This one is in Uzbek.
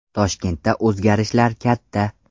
Toshkentda o‘zgarishlar katta.